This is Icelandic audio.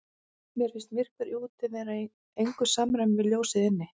Mér fannst myrkrið úti vera í engu samræmi við ljósið inni.